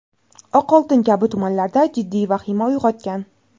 Oqoltin kabi tumanlarda jiddiy vahima uyg‘otgan.